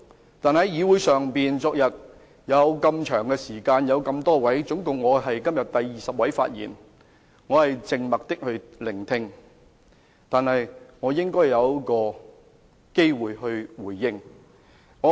昨天在議會上有如此長時間和有多位議員發言，至今我是第二十位議員發言，我靜默地聆聽，但我也應有回應的機會。